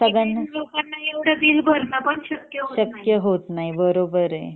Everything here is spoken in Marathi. लोकांना इतकं बिल भरणं पण शक्य होत नाही